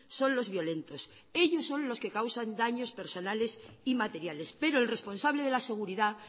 son los violentos ellos son los que causan daños personales y materiales pero el responsable de la seguridad